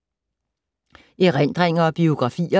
Erindringer og biografier